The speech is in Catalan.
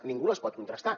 ningú les pot contrastar